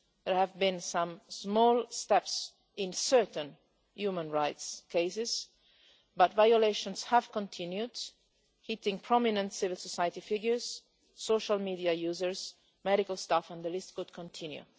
There have been some small steps in certain human rights cases, but violations have continued, affecting prominent civil society figures, users of social media, medical staff, and the list could continue.